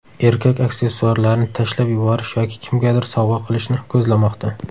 Erkak aksessuarlarni tashlab yuborish yoki kimgadir sovg‘a qilishni ko‘zlamoqda.